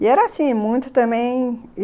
E era assim, muito também.